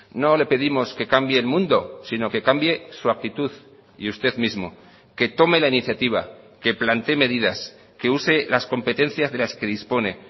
no le pedimos que cambie el mundo sino que cambie su actitud y usted mismo que tome la iniciativa que plantee medidas que use las competencias de las que dispone